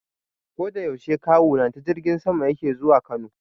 Koda yaushe Kawuna ta jirgin sama yake zuwa Kano.